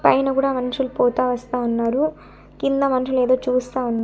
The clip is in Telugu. పైన కూడా మనుషులు పోతా వస్తా ఉన్నారు కింద మనుషులు ఏదో చూస్తా ఉన్--